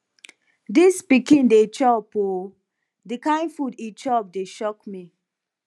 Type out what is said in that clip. dis pikin dey chop ooo the kin food he chop dey shock me